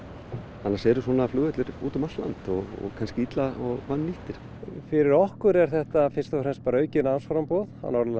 annars eru svona flugvellir út um allt land og kannski illa og vannýttir fyrir okkur er þetta fyrst og fremst aukið námsframboð á Norðurlandi